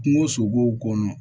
Kungo sogow kɔnɔ